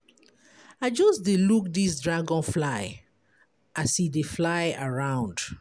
I just dey look dis dragonfly as e dey fly around.